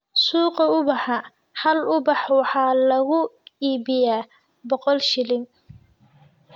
Suuqa ubaxa, hal ubax waxaa lagu iibiyaa boqol shilin